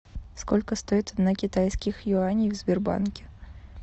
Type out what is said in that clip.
сколько стоит одна китайских юаней в сбербанке